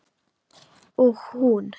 Og hún.